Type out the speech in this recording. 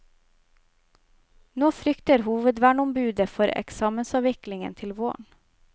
Nå frykter hovedverneombudet for eksamensavviklingen til våren.